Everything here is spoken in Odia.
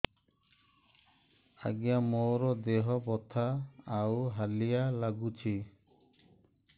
ଆଜ୍ଞା ମୋର ଦେହ ବଥା ଆଉ ହାଲିଆ ଲାଗୁଚି